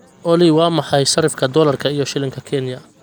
olly waa maxay sarifka dollarka iyo shilinka kenya